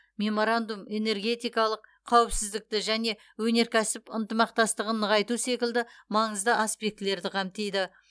меморандум энергетикалық қауіпсіздікті және өнеркәсіп ынтымақтастығын нығайту секілді маңызды аспектілерді қамтиды